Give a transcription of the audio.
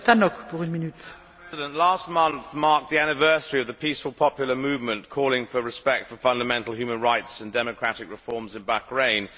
Madam President, last month marked the anniversary of the peaceful popular movement calling for respect for fundamental human rights and democratic reforms in Bahrain.